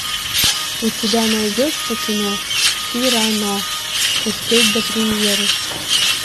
у тебя найдется кино сирано успеть до премьеры